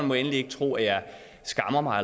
må endelig ikke tro at jeg skammer mig